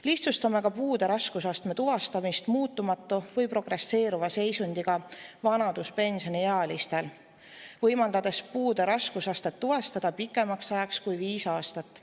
Lihtsustame ka puude raskusastme tuvastamist muutumatu või progresseeruva seisundiga vanaduspensioniealistel, võimaldades puude raskusastet tuvastada pikemaks ajaks kui viis aastat.